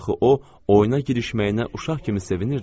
Axı o, oyuna girişməyinə uşaq kimi sevinirdi.